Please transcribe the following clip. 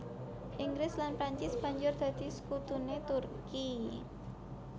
Inggris lan Prancis banjur dadi sekutuné Turki